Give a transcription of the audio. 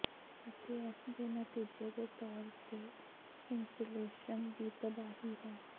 ਅਤੇ ਇਸ ਦੇ ਨਤੀਜੇ ਦੇ ਤੌਰ ਤੇ ਇਨਸੂਲੇਸ਼ਨ ਦੀ ਤਬਾਹੀ ਹੈ